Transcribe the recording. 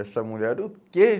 Essa mulher, o quê?